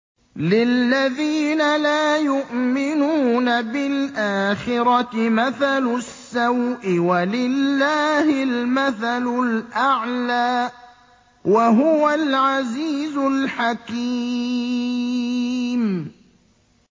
لِلَّذِينَ لَا يُؤْمِنُونَ بِالْآخِرَةِ مَثَلُ السَّوْءِ ۖ وَلِلَّهِ الْمَثَلُ الْأَعْلَىٰ ۚ وَهُوَ الْعَزِيزُ الْحَكِيمُ